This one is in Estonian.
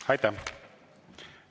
Aitäh!